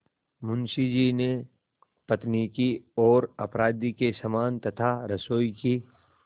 मुंशी जी ने पत्नी की ओर अपराधी के समान तथा रसोई की